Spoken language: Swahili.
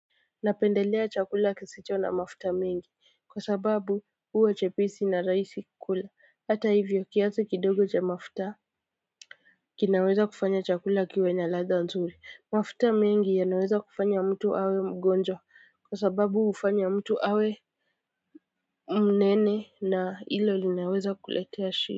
Napendelea chakula kisicho na mafuta mingi kwa sababu huwa cheprsi na rahisi kukula hata hivyo kiasi kidogo cha mafuta kinaweza kufanya chakula kiwe na latha nzuri mafuta mengi yanaweza kufanya mtu awe mgonjwa kwa sababu hufanya mtu awe mnene na ilo linaweza kuletea shida.